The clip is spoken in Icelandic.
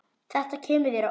Þetta kemur þér á óvart.